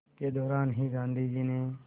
के दौरान ही गांधी ने